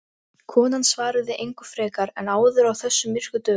Konan svaraði engu frekar en áður á þessum myrku dögum.